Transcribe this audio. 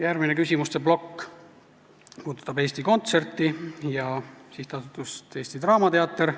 Järgmine küsimuste plokk puudutab Eesti Kontserti ja SA-d Eesti Draamateater.